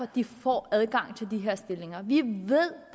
de får adgang til de her stillinger vi ved